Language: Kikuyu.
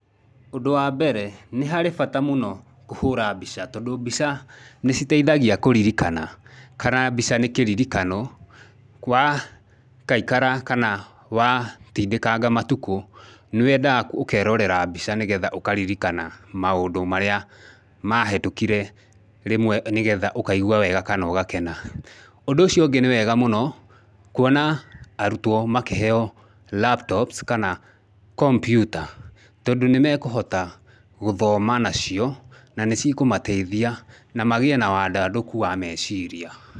Ũndũ wa mbere, nĩ harĩ bata mũno kũhũra mbica, tondũ mbica nĩ citeihagia kũririkana kana mbica nĩ kĩririkano kwa kaikara kana wa tindĩkanga matukũ, nĩ wendaga ũkerorera mbica nĩgetha ũkaririkana maũndũ marĩa mahĩtũkire rĩmwe nĩgetha ũkaigua wega kana ũgakena. Ũndũ ũcio ũngĩ nĩ wega mũno kuona arutwo makĩheyo laptops kana kompiuta, tondũ nĩ mekũhota gũthoma nacio na nĩ cikũmateithia na magĩe na wandandũku wa meciria.